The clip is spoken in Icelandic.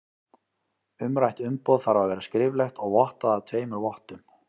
Umrætt umboð þarf að vera skriflegt og vottað af tveimur vottum.